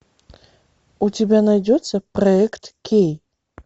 у тебя найдется проект кей